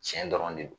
Tiɲɛ dɔrɔn de don